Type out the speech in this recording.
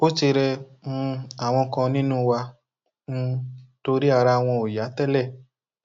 ó ti rẹ um àwọn kan nínú wa um torí ara wọn ò yá tẹlẹ